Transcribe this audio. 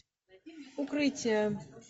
укрытие